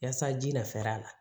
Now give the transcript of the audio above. Yaasa ji na fɛɛrɛ a la